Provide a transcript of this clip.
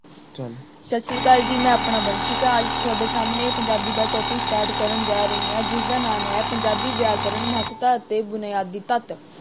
ਸਤਿ ਸ਼੍ਰੀ ਆਕਾਲ ਜੀ ਮੈਂ ਆਪਣਾ ਵੰਸ਼ਿਕਾ ਤੁਹਾਡੇ ਸਾਹਮਣੇ ਪੰਜਾਬੀ ਦਾ topic start ਕਰਨ ਜਾ ਰਹੀ ਹਾਂ ਜਿਸਦਾ ਨਾਮ ਹੈ ਪੰਜਾਬੀ ਵਿਆਕਰਨ ਮਹੱਤਤਾ ਅਤੇ ਬੁਨਿਆਦੀ ਤੱਤ।